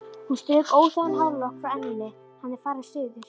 Hún strauk óþægan hárlokk frá enninu: Hann er farinn suður